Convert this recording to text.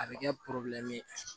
A bɛ kɛ